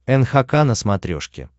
нхк на смотрешке